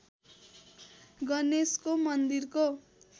गणेशको मन्दिरको